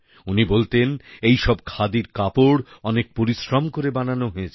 উনি বলতেন এইসব খাদির কাপড় অনেক পরিশ্রম করে বানানো হয়েছে